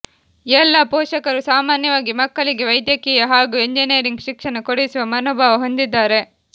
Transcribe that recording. ಎಲ್ಲಾ ಪೋಷಕರು ಸಾಮಾನ್ಯವಾಗಿ ಮಕ್ಕಳಿಗೆ ವೈದ್ಯಕೀಯ ಹಾಗೂ ಎಂಜಿನಿಯರಿಂಗ್ ಶಿಕ್ಷಣ ಕೊಡಿಸುವ ಮನೋಭಾವ ಹೊಂದಿದ್ದಾರೆ